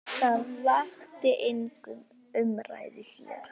Það vakti enga umræðu hér.